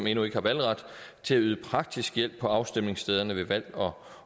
endnu ikke har valgret til at yde praktisk hjælp på afstemningsstederne ved valg